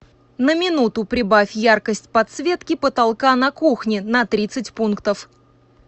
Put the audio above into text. на минуту прибавь яркость подсветки потолка на кухне на тридцать пунктов